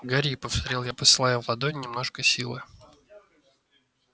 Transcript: гори повторил я посылая в ладонь немножко силы